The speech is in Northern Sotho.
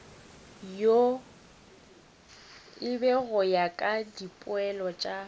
go ya ka dipoelo tša